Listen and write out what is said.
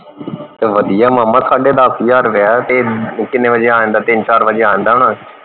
ਤੇ ਵੱਧੀਆ ਮਾਮਾ ਸਾਢੇ ਦੱਸ ਹਜਾਰ ਰੁਪਿਆ ਹੈ ਤੇ ਕਿੰਨੇ ਵਜੇ ਆ ਜਾਂਦਾ ਤਿੰਨ ਚਾਰ ਵਜੇ ਆ ਜਾਂਦਾ ਹੋਣਾ